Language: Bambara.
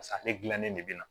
Pasa ale dilannen de bɛ na